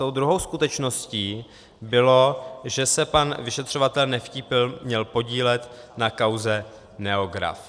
Tou druhou skutečností bylo, že se pan vyšetřovatel Nevtípil měl podílet na kauze Neograph.